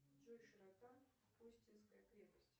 джой широта хостинская крепость